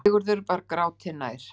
Sigurður var gráti nær.